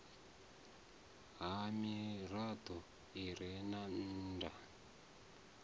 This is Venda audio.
ha mirado i re nnda